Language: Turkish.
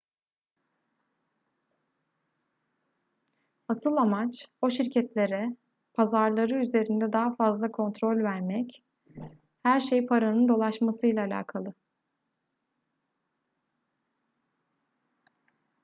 asıl amaç o şirketlere pazarları üzerinde daha fazla kontrol vermek her şey paranın dolaşmasıyla alakalı